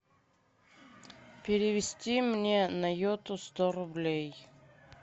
перевести мне на йоту сто рублей